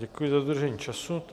Děkuji za dodržení času.